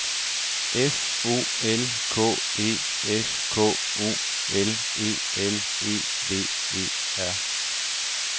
F O L K E S K O L E L E V E R